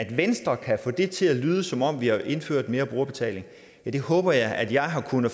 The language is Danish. venstre kan få det til at lyde som om vi har indført mere brugerbetaling håber jeg at jeg har kunnet